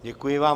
Děkuji vám.